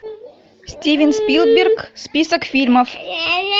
стивен спилберг список фильмов